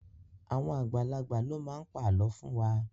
Àwọn àgbàlagbà ló máa pa àlọ́ fún wa.